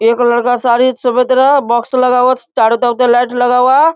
एगो लड़का बॉक्स लगा हुआ है चारो तरफ से लाइट लगा हुआ है।